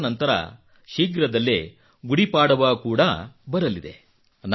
ಅದಾದ ನಂತರ ಶೀಘ್ರದಲ್ಲೇ ಗುಡಿಪಾಡವಾ ಕೂಡಾ ಬರಲಿದೆ